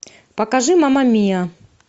покажи мама мия